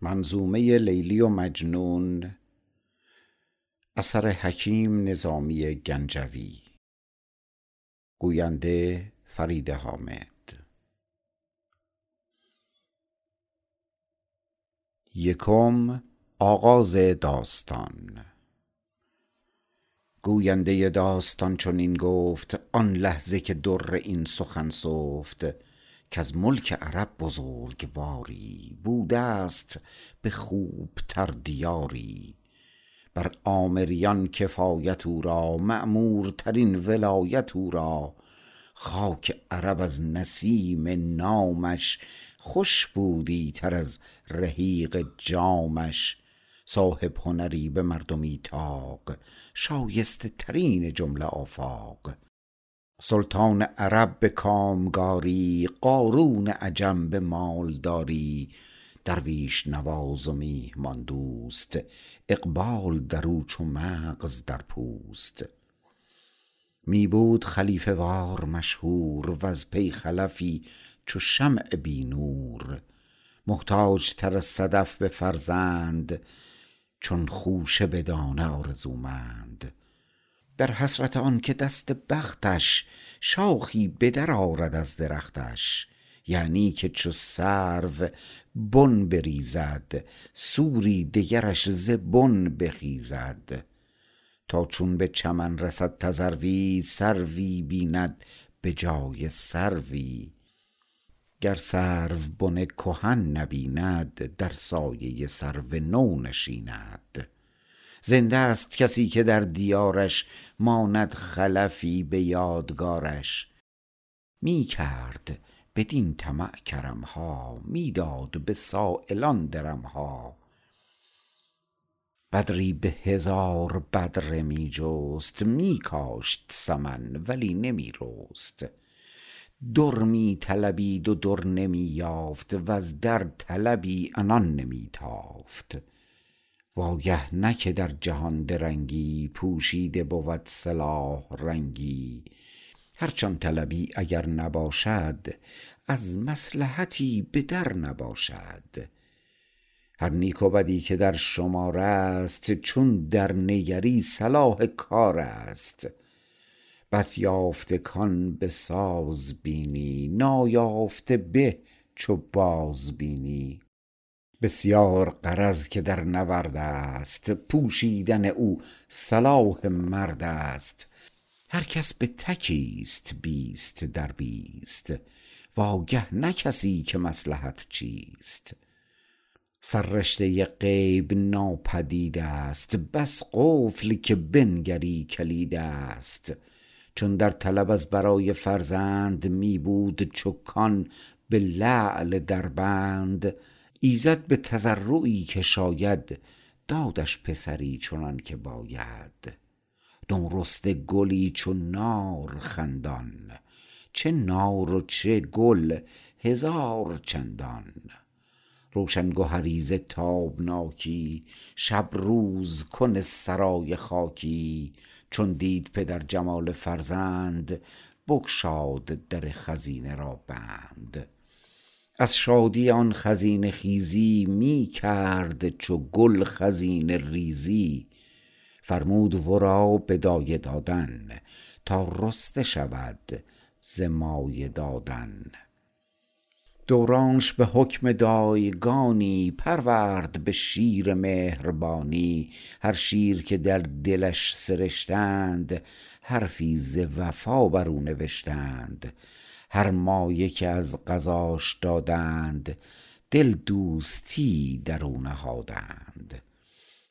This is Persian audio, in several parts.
گوینده داستان چنین گفت آن لحظه که در این سخن سفت کز ملک عرب بزرگواری بوده ست به خوب تر دیاری بر عامریان کفایت او را معمورترین ولایت او را خاک عرب از نسیم نامش خوش بوی تر از رحیق جامش صاحب هنری به مردمی طاق شایسته ترین جمله آفاق سلطان عرب به کامکاری قارون عجم به مال داری درویش نواز و میهمان دوست اقبال دراو چو مغز در پوست می بود خلیفه وار مشهور وز بی خلفی چو شمع بی نور محتاج تر از صدف به فرزند چون خوشه به دانه آرزومند در حسرت آن که دست بختش شاخی به در آرد از درختش یعنی که چو سرو بن بریزد سروی دگرش ز بن بخیزد تا چون به چمن رسد تذروی سروی بیند به جای سروی گر سرو بن کهن نبیند در سایه سرو نو نشیند زنده ست کسی که در دیارش ماند خلفی به یادگار ش می کرد بدین طمع کرم ها می داد به سایلان درم ها بدری به هزار بدره می جست می کاشت سمن ولی نمی رست در می طلبید و درنمی یافت وز درطلبی عنان نمی تافت وآگه نه که در جهان درنگی پوشیده بود صلاح رنگی هرچ آن طلبی اگر نباشد از مصلحتی به در نباشد هر نیک و بدی که در شمار است چون در نگری صلاح کار است بس یافته کآن بساز بینی نایافته به چو باز بینی بسیار غرض که در نورد است پوشیدن او صلاح مرد است هر کس به تکی است بیست در بیست واگه نه کسی که مصلحت چیست سررشته غیب ناپدید است بس قفل که بنگری کلید است چون درطلب از برای فرزند می بود چو کان به لعل دربند ایزد به تضرعی که شاید دادش پسری چنان که باید نو رسته گلی چو نار خندان چه نار و چه گل هزار چندان روشن گهری ز تابناکی شب روز کن سرای خاکی چون دید پدر جمال فرزند بگشاد در خزینه را بند از شادی آن خزینه خیزی می کرد چو گل خزینه ریزی فرمود ورا به دایه دادن تا رسته شود ز مایه دادن دورانش به حکم دایگانی پرورد به شیر مهربانی هر شیر که در دلش سرشتند حرفی ز وفا بر او نوشتند هر مایه که از غذاش دادند دل دوستی ای در او نهادند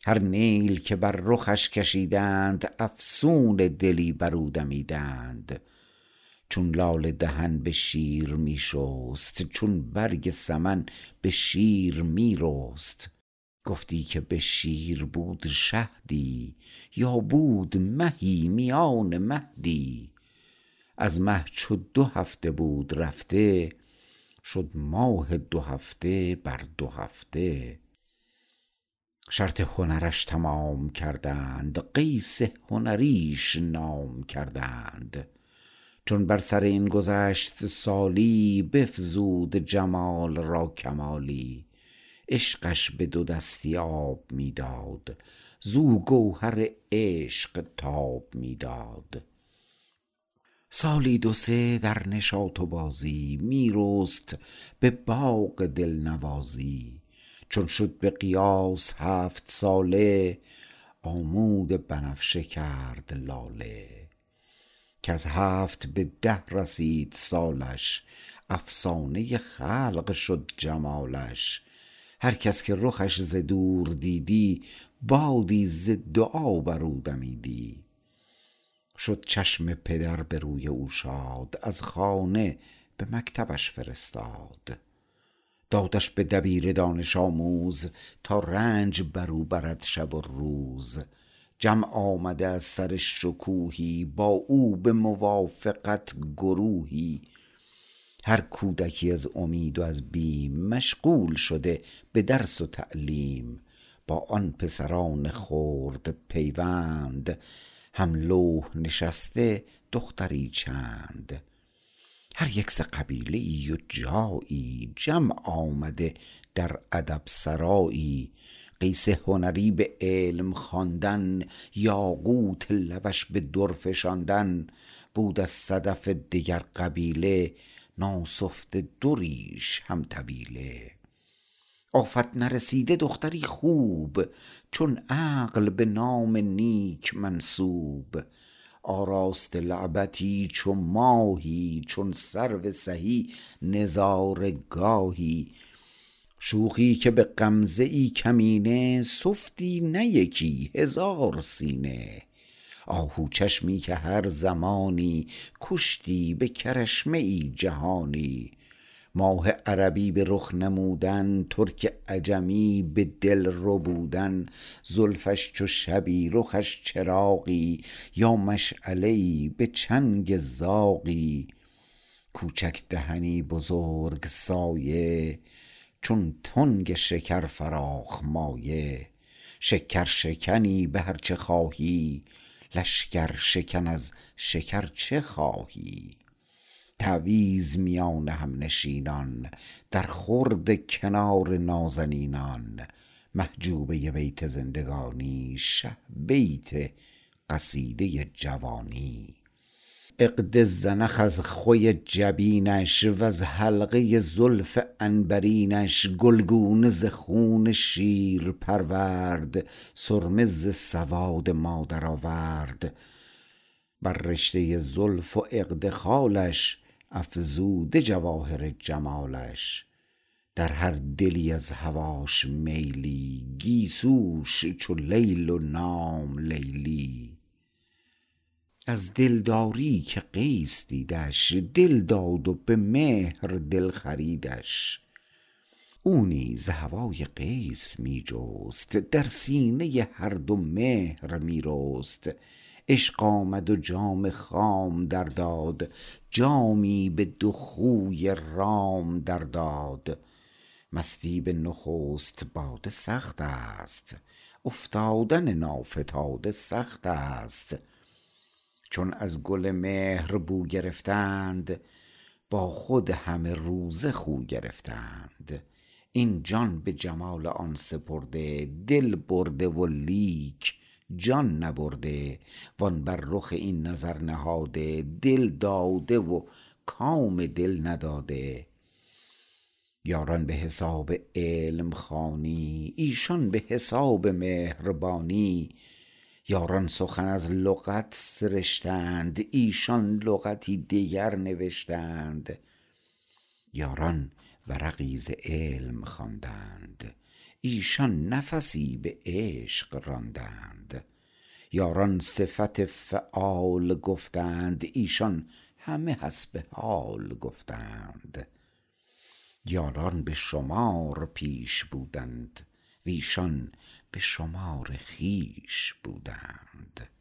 هر نیل که بر رخش کشیدند افسون دلی بر او دمیدند چون لاله دهن به شیر می شست چون برگ سمن به شیر می رست گفتی که به شیر بود شهدی یا بود مهی میان مهدی از مه چو دو هفته بود رفته شد ماه دو هفته بر دو هفته شرط هنرش تمام کردند قیس هنریش نام کردند چون بر سر این گذشت سالی بفزود جمال را کمالی عشقش به دو دستی آب می داد زو گوهر عشق تاب می داد سالی دو سه در نشاط و بازی می رست به باغ دل نوازی چون شد به قیاس هفت ساله آمود بنفشه گرد لاله کز هفت به ده رسید سالش افسانه خلق شد جمالش هر کس که رخش ز دور دیدی بادی ز دعا بر او دمیدی شد چشم پدر به روی او شاد از خانه به مکتبش فرستاد دادش به دبیر دانش آموز تا رنج بر او برد شب و روز جمع آمده از سر شکوهی با او به موافقت گروهی هر کودکی از امید و از بیم مشغول شده به درس و تعلیم با آن پسران خرد پیوند هم لوح نشسته دختری چند هر یک ز قبیله ای و جایی جمع آمده در ادب سرایی قیس هنری به علم خواندن یاقوت لبش به در فشاندن بود از صدف دگر قبیله ناسفته دریش هم طویله آفت نرسیده دختری خوب چون عقل به نام نیک منسوب آراسته لعبتی چو ماهی چون سرو سهی نظاره گاهی شوخی که به غمزه ای کمینه سفتی نه یکی هزار سینه آهوچشمی که هر زمانی کشتی به کرشمه ای جهانی ماه عربی به رخ نمودن ترک عجمی به دل ربودن زلفش چو شبی رخش چراغی یا مشعله ای به چنگ زاغی کوچک دهنی بزرگ سایه چون تنگ شکر فراخ مایه شکر شکنی به هر چه خواهی لشگرشکن از شکر چه خواهی تعویذ میان هم نشینان در خورد کنار نازنینان محجوبه بیت زندگانی شه بیت قصیده جوانی عقد زنخ از خوی جبینش وز حلقه زلف عنبرینش گلگونه ز خون شیر پرورد سرمه ز سواد مادر آورد بر رشته زلف و عقد خالش افزوده جواهر جمالش در هر دلی از هواش میلی گیسوش چو لیل و نام لیلی از دلداری که قیس دیدش دل داد و به مهر دل خریدش او نیز هوای قیس می جست در سینه هر دو مهر می رست عشق آمد و جام خام در داد جامی به دو خوی رام در داد مستی به نخست باده سخت است افتادن نافتاده سخت است چون از گل مهر بو گرفتند با خود همه روزه خو گرفتند این جان به جمال آن سپرده دل برده ولیک جان نبرده وان بر رخ این نظر نهاده دل داده و کام دل نداده یاران به حساب علم خوانی ایشان به حساب مهربانی یاران سخن از لغت سرشتند ایشان لغتی دگر نوشتند یاران ورقی ز علم خواندند ایشان نفسی به عشق راندند یاران صفت فعال گفتند ایشان همه حسب حال گفتند یاران به شمار پیش بودند و ایشان به شمار خویش بودند